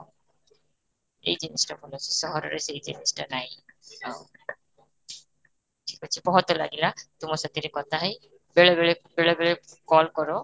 ଏଇ ଜିନିଷ ଭଲ, ସହର ରେ ଏଇ ଜିନିଷଟା ନାହିଁ ଯିବା ଯୋଉଟା ମତେ ଲାଗିଲା ତୁମ ସହିତ କଥା ହେଇ, ବେଳେ ବେଳେ, ବେଳେ ବେଳେ call କର